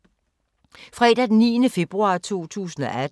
Fredag d. 9. februar 2018